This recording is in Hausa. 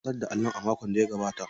An matsar da allon a makon da ya gabata.